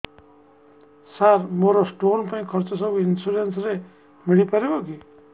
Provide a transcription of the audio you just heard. ସାର ମୋର ସ୍ଟୋନ ପାଇଁ ଖର୍ଚ୍ଚ ସବୁ ଇନ୍ସୁରେନ୍ସ ରେ ମିଳି ପାରିବ କି